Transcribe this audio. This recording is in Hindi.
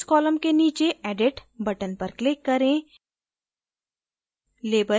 operations column के नीचे edit button पर click करें